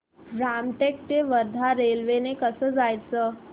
रामटेक ते वर्धा रेल्वे ने कसं जायचं